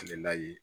A bɛ nayi